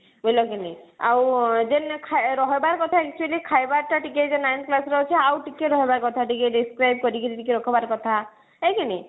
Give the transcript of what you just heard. ବୁଝିଲ କି ନାଇ ଆଉ ଆଁ ଯେନ ରହିବାର କଥା actually ଖାଇବା ଟା ଟିକେ ଯେଉଁ ninth class ର ଅଛି ଆଉ ଟିକେ ରହବା କଥା ଟିକେ describe କରିକିରି ଟିକେ ରଖବାର କଥା ହେଁ କି ନି